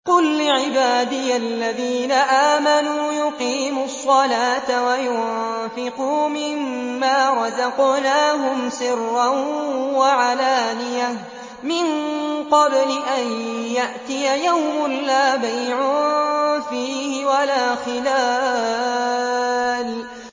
قُل لِّعِبَادِيَ الَّذِينَ آمَنُوا يُقِيمُوا الصَّلَاةَ وَيُنفِقُوا مِمَّا رَزَقْنَاهُمْ سِرًّا وَعَلَانِيَةً مِّن قَبْلِ أَن يَأْتِيَ يَوْمٌ لَّا بَيْعٌ فِيهِ وَلَا خِلَالٌ